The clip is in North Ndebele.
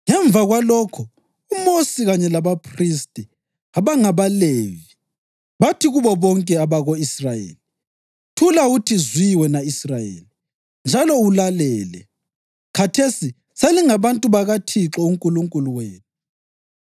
Ngemva kwalokho uMosi kanye labaphristi abangabaLevi, bathi kubo bonke abako-Israyeli, “Thula uthi zwi wena Israyeli, njalo ulalele! Khathesi selingabantu bakaThixo uNkulunkulu wenu.